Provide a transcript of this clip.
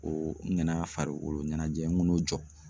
Ko n kana farikolo ɲɛnajɛ kan'o jɔ